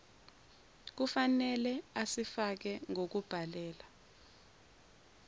kufnele asifake ngokubhalela